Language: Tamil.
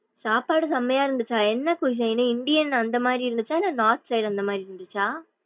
சாப்பாடு செமையா இருந்துச்சா என்ன cusion ன்னு இந்தியன் அந்த மாரி இருந்துச்சா இல்ல north style அந்த மாறி இர்ந்துச்சா.